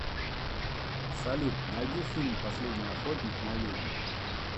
салют найди фильм последний охотник на ведьм